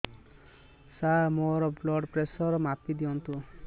ସାର ମୋର blood pressure ମାପି ଦିଅନ୍ତୁ